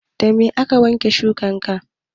Da me ake wanke shuwaka?